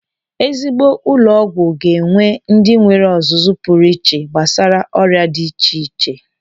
Ezigbo ụlọ ọgwụ ga-enwe ndị nwere ọzụzụ pụrụ iche gbasara ọrịa dị iche iche.